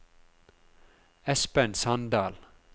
Espen Sandal